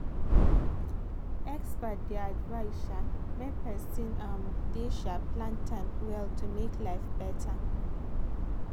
experts dey advise um make person um dey um plan time well to make life better.